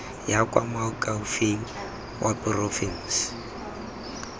ya kwa moakhaefeng wa porofense